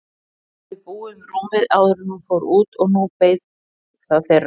Hún hafði búið um rúmið áður en hún fór út og nú beið það þeirra.